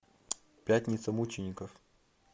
пятница мучеников